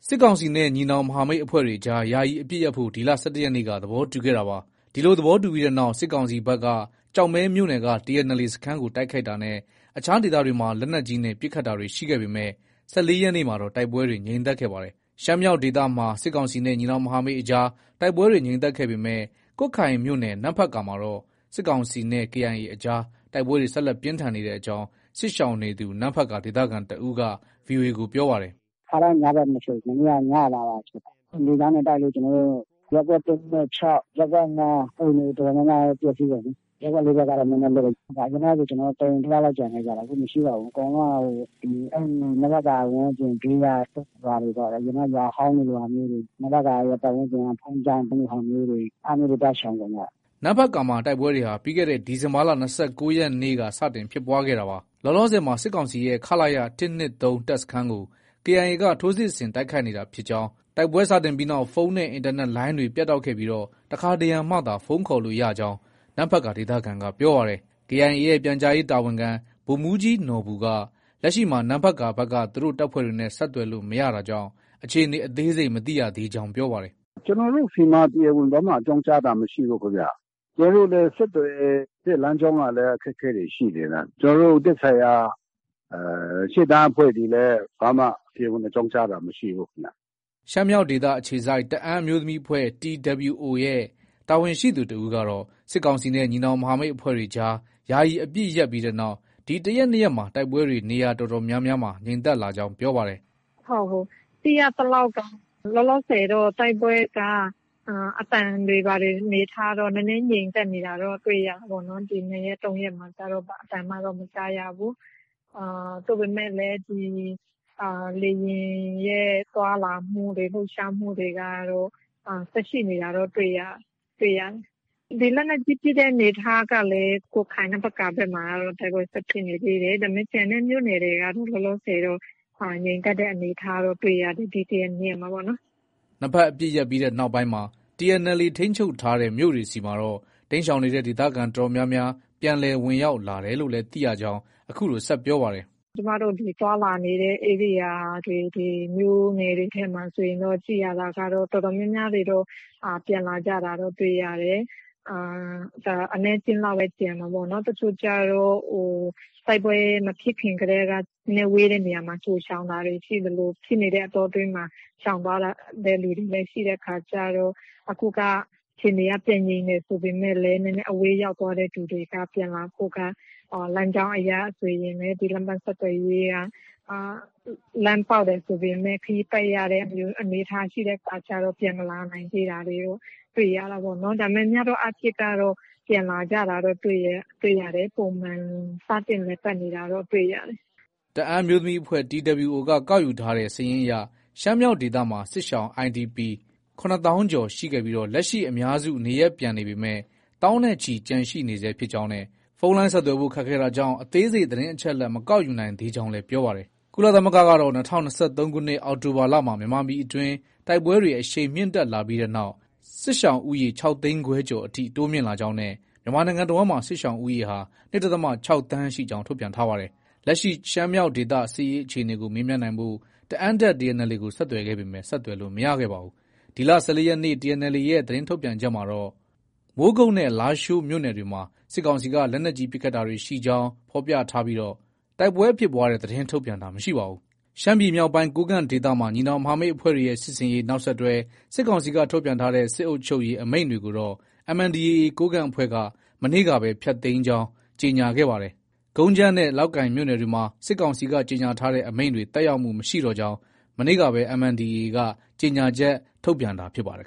စစ်ကောင်စီနဲ့ ညီနောင်မဟာမိတ်အဖွဲ့တွေအကြား ယာယီအပစ်ရပ်ဖို့ ဒီလ ၁၁ရက်နေ့က သဘောတူခဲ့တာပါ။ ဒီလို သဘောတူပြီးနောက် စစ်ကောင်စီဘက်က ကျောက်မဲမြို့နယ်က TNLA စခန်းကို တိုက်ခိုက်တာနဲ့ အခြားဒေသတွေမှာ လက်နက်ကြီးနဲ့ ပစ်ခတ်တာတွေ ရှိခဲ့ပေမဲ့ ၁၄ရက်နေ့မှာတော့ တိုက်ပွဲတွေ ငြိမ်သက်ခဲ့ပါတယ်။ ရှမ်းမြောက်ဒေသမှာ စစ်ကောင်စီနဲ့ ညီနောင်မဟာမိတ် အကြား တိုက်ပွဲတွေ ငြိမ်သက်ခဲ့ပေမဲ့ ကွတ်ခိုင်မြို့နယ် နမ့်ဖတ်ကာမှာတော့ စစ်ကောင်စီနဲ့ KIA အကြား တိုက်ပွဲတွေ ဆက်လက်ပြင်းထန်နေကြောင်း စစ်ရှောင်နေသူ နမ့်ဖတ်ကာ ဒေသခံတစ်ဦးက VOA ကို ပြောပါတယ်။ “ ခါတိုင်း ညဘက်မဖြစ်ဘူး။ မနေ့က ညမှာပါ ဖြစ်တာ။ လေကြောင်းနဲ့ တိုက်လို့ ကျနော်တို့ ရပ်ကွက် ၁၊ ၂၊ ၆၊ ရပ်ကွက် ၅ က အိမ်တွေ တော်တော်များများလည်း ပျက်ဆီးကုန်ပြီ။ ရပ်ကွက် ၄ဘက်ကတော့ နည်းနည်းလွတ်လိမ့်မယ်။ အရင်တုံးကဆို ကျနော်တို့ တအိမ်တယောက်လောက်ကျန်တာ။ အခုမရှိတော့ဘူး။ အကုန်လုံးက နမ့်ဖတ်ကာ ဝန်းကျင် ဘေးကရွာတွေပေါ့။ အရင်တုံးက ရွာဟောင်းလိုဟာမျိုးတွေ။ နမ့်ဖတ်ကာဝန်းကျင်က ဘုန်းကြီးကျောင်းလိုဟာမျိုးတွေ အဲလိုမျိုးတွေမှာ သွားရှောင်ကုန်ကြတာ။ ” နမ့်ဖတ်ကာမှာ တိုက်ပွဲတွေဟာ ပြီးခဲ့တဲ့ ဒီဇင်ဘာလ ၂၉ရက်နေ့က စတင်ဖြစ်ပွားခဲ့တာပါ။ လောလောဆည်မှာ စစ်ကောင်စီရဲ့ ခလရ ၁၂၃ တပ်စခန်းကို KIA က ထိုးစစ်ဆင် တိုက်ခိုက်နေတာဖြစ်ကြောင်း၊ တိုက်ပွဲစတင်ပြီးနောက် ဖုန်းနဲ့ အင်တာနက်လိုင်းတွေလည်း ပြတ်တောက်ခဲ့ပြီး တခါတရံမှသာ ဖုန်းခေါ်ရကြောင်း နမ့်ဖတ်ကာ ဒေသခံက ပြောပါတယ်။ KIA ရဲ့ ပြန်ကြားရေးတာဝန်ခံ ဗိုလ်မှူးကြီးနော်ဘူက လက်ရှိမှာ နမ့်ဖတ်ကာဘက်က သူတို့ တပ်ဖွဲ့တွေနဲ့ ဆက်သွယ်လို့ မရတာကြောင့် အခြေအနေ အသေးစိတ်မသိရကြောင်း ပြောပါတယ်။ “ ကျနော်တို့ဆီမှာ တရားဝင် ဘာမှ အကြောင်းကြားတာမရှိဘူးခင်ဗျ။ ကျနော်တို့လည်းဆက်သွယ်တဲ့ လမ်းကြောင်းက အခက်အခဲတွေ ရှိနေတာ။ ကျနော်တို့ သက်ဆိုင်ရာ ရှေ့တန်းအဖွဲ့တွေလည်း တရားဝင် ကြောင်းကြားတာ ဘာမှ မရှိဘူးခင်ဗျ။” ရှမ်းမြောက်ဒေသ အခြေစိုက် တအာင်းအမျိုးသမီးအဖွဲ့ TWO ရဲ့ တာဝန်ရှိသူတဦးကတော့ စစ်ကောင်စီနဲ့ ညီနောင်မဟာမိတ်အဖွဲ့တွေ ယာယီအပစ်ရပ်ပြီးနောက် ဒီ တရက်၊ နှစ်ရက်မှာ တိုက်ပွဲတွေ နေရာအတော်များများ ငြိမ်သက်လာကြောင်း ပြောပါတယ်။ “ ဟုတ် သိရသလောက်က လောလောဆည်တော့ တိုက်ပွဲက အသံတွေ ဘာတွေ အနေအထားတော့ နည်းနည်းငြိမ်သက်နေတာတော့ တွေ့ရတာပေါ့နော်။ ဒီ ၂ရက်၊ ၃ရက်မှာတော့ ဘာအသံမှတော့ မကြားရဘူး။ သို့ပေမယ့်လည်း ဒီ လေယာဉ်ရဲ့ သွားလာမှုတွေ လှုပ်ရှားမှုတွေကတော့ ဆက်ရှိနေတာတော့ တွေ့ရတယ်။ ဒီလက်နက်ကြီး ပစ်တဲ့အနေအထားကလည်း ကွတ်ခိုင် နမ့်ဖတ်ကာဘက်မှာတော့ တိုက်ပွဲဆက် ဖြစ်နေသေးတယ်။ ဒါပေမဲ့ ကျန်တဲ့ မြို့နယ်တွေကတော့ လောလောဆည်တော့ ငြိမ်သက်တဲ့အနေအထားတော့ တွေ့ရတယ်။ ဒီ တရက်၊နှစ်ရက်မှာပေါ့နော်။” နှစ်ဘက်အပစ်ရပ်ပြီးနောက်မှာ TNLA ထိန်းချုပ်ထားတဲ့ မြို့တွေဆီမှာတော့ တိမ်းရှောင်နေတဲ့ ဒေသခံအတော်များများ ပြန်လည် ဝင်ရောက်လာတယ်လို့လည်း သိရကြောင်း အခုလို ဆက်ပြောပါတယ်။ “ကျမတို့တတွေ သွားလာနေတဲ့ ဧရိယာတွေ မြို့နယ်တွေထဲမှာဆိုရင်တော့ ကြည့်ရတာတော့ တော်တော်များများတွေတော့ ပြန်လာကြတာတွေ တွေ့ရတယ်။ အနည်းအကျဉ်းလောက်ပဲ ကျန်မှာပေါ့။ တချို့ကျတော့ တိုက်ပွဲမဖြစ်ခင်ကတည်းက နည်းနည်းဝေးတဲ့နေရာကို ကြို ရှောင်သလို၊ ဖြစ်နေတဲ့အတောအတွင်းမှာ ရှောင်သွားတဲ့သူတွေလည်း ရှိတဲ့အခါကျတော့ အခုက အခြေအနေက ပြန်ငြိမ်တယ် ဆိုပေမဲ့လည်း နည်းနည်းအဝေးရောက်သွားတဲ့သူတွေက ပြန်လာဖို့က လမ်းကြောင်းအရဆိုရင် လမ်းပန်းဆက်သွယ်ရေးက လမ်းပေါက်တယ်ဆိုပေမဲ့ ခရီးပတ်ရတဲ့အနေအထားမျိုးရှိတဲ့အခါကျတော့ ပြန်မလာ နိုင်သေးတာတော့ တွေ့ရတာပေါ့နော်။ ဒါပေမဲ့ များသောအားဖြင့်ကတော့ ပြန်လာကြတာတော့ တွေ့တယ်။ ပုံမှန် စတင်လည်ပတ်နေတာတော့ တွေ့ရတယ်။ ” တအာင်းအမျိုးသမီးအဖွဲ့ TWO က ကောက်ယူထားတဲ့စာရင်းအရ ရှမ်းမြောက်ဒေသမှာ စစ်ရှောင် IDPs ၇သောင်းကျော်ရှိခဲ့ပြီး လက်ရှိအများစုနေရပ်ပြန်ပေမဲ့ သောင်းနဲ့ချီ ကျန်ရှိနေဆဲဖြစ်ကြောင်းနဲ့ ဖုန်းလိုင်းဆက်သွယ်ဖို့ ခက်ခဲတာကြောင့် အသေးစိတ် သတင်းအချက်အလက် မကောက်ယူနိုင်သေးကြောင်း ပြောပါတယ်။ ကုလသမဂ္ဂကတော့ ၂၀၂၃ခုနှစ် အောက်တိုဘာလမှာ မြန်မာပြည်အတွင်း တိုက်ပွဲတွေ အရှိန်မြင့်တက်လာပြီးနောက် စစ်ရှောင်ဦးရေ ၆သိန်းခွဲကျော်အထိ တိုးမြင့်လာကြောင်း နဲ့ မြန်မာနိုင်ငံတဝှမ်းလုံးမှာ စစ်ရှောင်ဦးရေဟာ ၂ဒသမ ၆ သန်းရှိကြောင်း ထုတ်ပြန်ထားပါတယ်။ လက်ရှိ ရှမ်းမြောက်ဒေသ စစ်ရေးအခြေအနေကို မေးမြန်းနိုင်ဖို့ တအာင်းတပ် TNLA ကို ဆက်သွယ်ခဲ့ပေမဲ့ ဆက်သွယ်လို့ မရခဲ့ပါဘူး။ ဒီလ ၁၄ရက်နေ့ TNLA ရဲ့ သတင်းထုတ်ပြန်ချက်မှာတော့ ကတော့ မိုးကုတ်နဲ့ လားရှိုးမြို့နယ်တွေမှာ စစ်ကောင်စီက လက်နက်ကြီးပစ်ခတ်တာတွေ ရှိကြောင်း ဖော်ပြထားပြီး တိုက်ပွဲဖြစ်ပွားတဲ့သတင်းထုတ်ပြန်တာ မရှိပါဘူး ။ ရှမ်းပြည်မြောက်ပိုင်း ကိုးကန့်ဒေသမှာ ညီနောင်မဟာမိတ်အဖွဲ့တွေရဲ့ စစ်ဆင်ရေး နောက်ဆက်တွဲ စစ်ကောင်စီက ထုတ်ပြန်ထားတဲ့ စစ်အုပ်ချုပ်ရေး အမိန့်တွေကိုတော့ MNDAA ကိုးကန့်အဖွဲ့က မနေ့ကပဲ ပယ်ဖျက်ကြောင်း ကြေညာခဲ့တာပါ။ ကုန်းကြမ်းနဲ့ လောက်ကိုင်မြို့နယ်တွေမှာ စစ်ကောင်စီက ကြေညာထားတဲ့ အမိန့်တွေ သက်ရောက်မှု မရှိတော့ကြောင်း မနေ့ကပဲ MNDAA က ကြေညာချက် ထုတ်ပြန်တာ ဖြစ်ပါတယ်